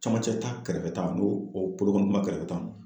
Camancɛ ta kɛrɛfɛ ta n'o o bolokɔni kunba kɛrɛfɛ ta